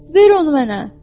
Ver onu mənə!